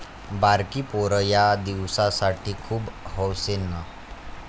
बारकी पोरं यादिवसांसाठी खूप हौसेनं